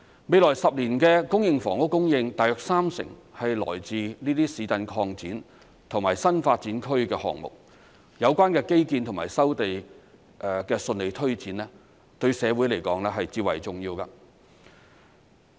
未來10年的公營房屋供應大約三成來自這些市鎮擴展及新發展區項目，有關的基建及收地的順利推展對社會來說至為重要。